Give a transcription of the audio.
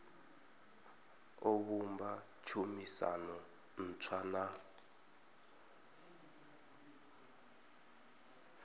o vhumba tshumisano ntswa na